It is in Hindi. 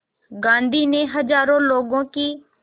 गांधी ने हज़ारों लोगों की